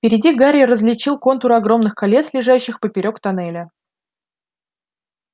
впереди гарри различил контуры огромных колец лежащих поперёк тоннеля